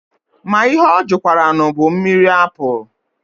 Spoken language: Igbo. Ma ihe ọ jụkwaranụ bụ mmiri apụlụ.